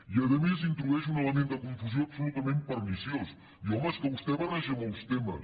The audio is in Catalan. i a més hi introdueix un element de confusió absolutament perniciós diu home és que vostè barreja molts temes